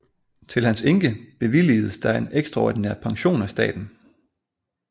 Til hans enke bevilgedes der en ekstraordinær pension af staten